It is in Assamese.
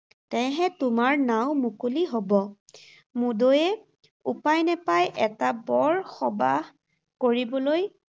তেহে তোমাৰ নাঁও মুকলি হ’ব। মুদৈয়ে উপায় নেপাই এটা বৰ সবাহ কৰিবলৈ